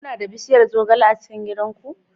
Kuna da bishiyar zogale a cikin gidan ku?